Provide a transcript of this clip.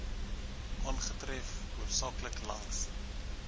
aangetref hoofsaaklik langs